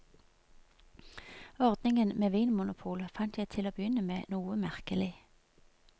Ordningen med vinmonopol fant jeg til og begynne med noe merkelig.